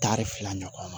Tari fila ɲɔgɔnna